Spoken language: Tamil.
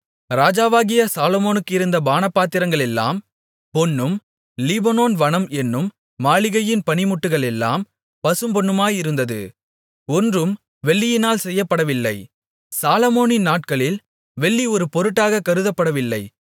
ராஜாவாகிய சாலொமோனுக்கு இருந்த பானபாத்திரங்களெல்லாம் பொன்னும் லீபனோன் வனம் என்னும் மாளிகையின் பணிமுட்டுகளெல்லாம் பசும்பொன்னுமாயிருந்தது ஒன்றும் வெள்ளியினால் செய்யப்படவில்லை சாலொமோனின் நாட்களில் வெள்ளி ஒரு பொருட்டாகக் கருதப்படவில்லை